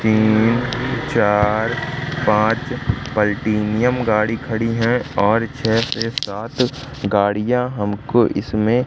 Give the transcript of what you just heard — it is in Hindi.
तीन चार पांच पलटेनियम गाड़ी खड़ी है और छे से सात गाड़ियां हमको इसमें--